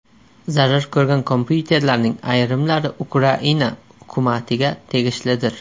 Zarar ko‘rgan kompyuterlarning ayrimlari Ukraina hukumatiga tegishlidir.